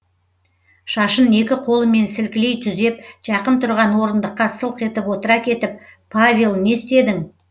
шашын екі қолымен сілкілей түзеп жақын тұрған орындыққа сылқ етіп отыра кетіп павел не істедің